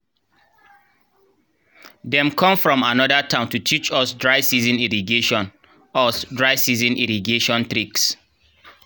dem kom from anoda town to teach us dry-season irrigation us dry-season irrigation tricks